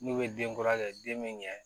N'u ye denkura kɛ den min kɛ